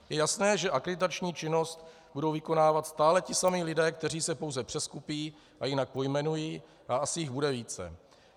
Je jasné, že akreditační činnost budou vykonávat stále ti samí lidé, kteří se pouze přeskupí a jinak pojmenují a asi jich bude více.